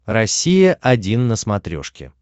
россия один на смотрешке